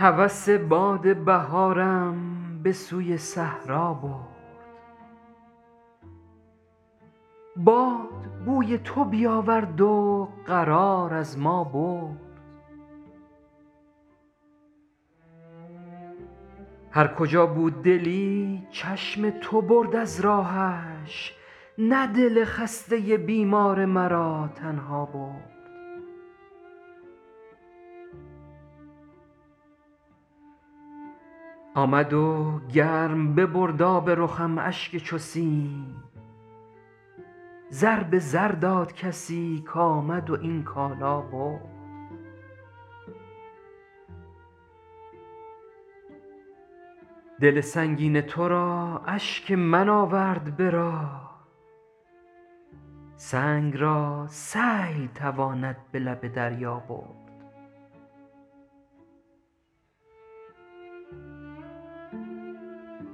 هوس باد بهارم به سوی صحرا برد باد بوی تو بیاورد و قرار از ما برد هرکجا بود دلی چشم تو برد از راهش نه دل خسته بیمار مرا تنها برد آمد و گرم ببرد آب رخم اشک چو سیم زر به زر داد کسی کامد و این کالا برد دل سنگین ترا اشک من آورد به راه سنگ را سیل تواند به لب دریا برد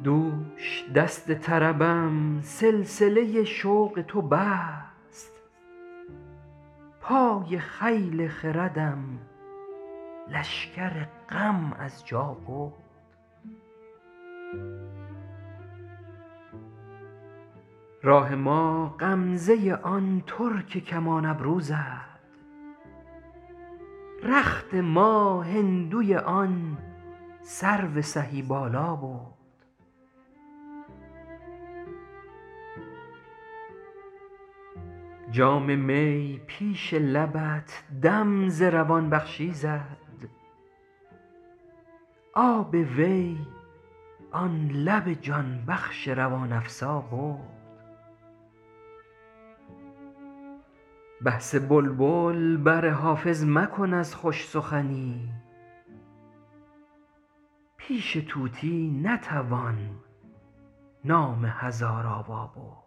دوش دست طربم سلسله شوق تو بست پای خیل خردم لشکر غم از جا برد راه ما غمزه آن ترک کمان ابرو زد رخت ما هندوی آن سرو سهی بالا برد جام می پیش لبت دم ز روان بخشی زد آب وی آن لب جان بخش روان افزا برد بحث بلبل بر حافظ مکن از خوش سخنی پیش طوطی نتوان نام هزارآوا برد